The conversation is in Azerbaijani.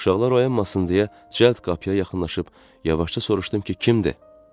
Uşaqlar oyanmasın deyə cəld qapıya yaxınlaşıb yavaşca soruşdum ki, kimdir?